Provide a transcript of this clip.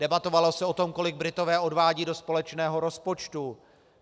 Debatovalo se o tom, kolik Britové odvádějí do společného rozpočtu.